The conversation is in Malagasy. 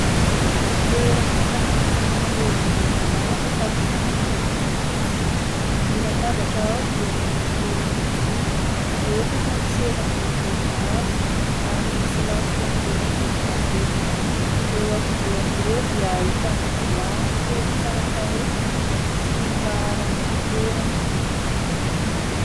Toeram-pisakafoanana lehibe malalaka sady manana rindrina fotsy. Ny latabatra ao dia miendrika efa-joro. Efatra ny seza manodidina azy ary nisy lafika miloko volon-davenona. Eo afovoan'ireo dia hitana vilany kely tsara tarehy sy ny laharan'ny fitoerana.